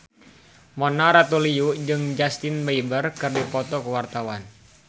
Mona Ratuliu jeung Justin Beiber keur dipoto ku wartawan